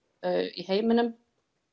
í heiminum